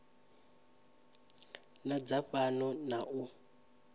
na dza fhano na u